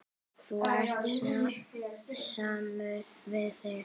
Þú ert samur við þig!